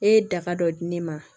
E ye daga dɔ di ne ma